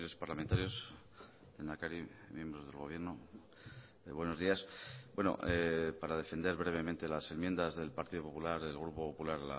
parlamentarios lehendakari miembros del gobierno buenos días para defender brevemente las enmiendas del partido popular del grupo popular